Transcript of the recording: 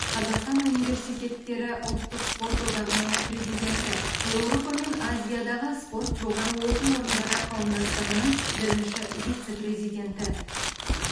қазақстан университеттері ұлттық спорт одағының президенті еуропа мен азиядағы спорт жоғарғы оқу орындары қауымдастығының бірінші вице президенті